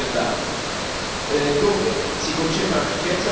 dove si concentra ricchezza verso chi sfrutta il lavoro.